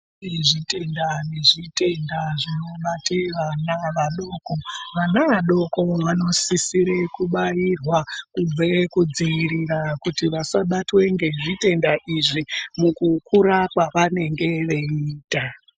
Kune zvitenda nezvitenda zvinobate vana vadoko vana vadoko vanosisire kubairwa kubve kudzivirira kuti vasabatwe ngezvitenda izvi mukukura kwavanenge veiita.